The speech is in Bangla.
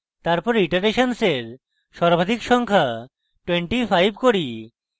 তারপর আমরা ইটারেশন্সের সর্বাধিক সংখ্যা 25 করি